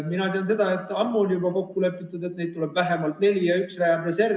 Mina tean seda, et ammu on juba kokku lepitud, et neid tuleb vähemalt neli ja üks läheb reservi.